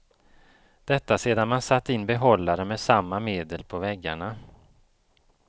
Detta sedan man satt in behållare med samma medel på väggarna.